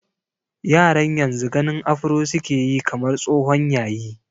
Yaran yanzu ganin afro su ke yi kamar tsohon yayi.